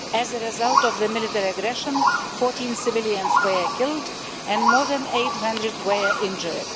As a result of the military aggression, 14 civilians were killed and more than 800 were injured.